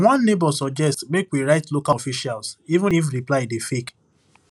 one neighbor suggest make we write local officials even if reply dey fake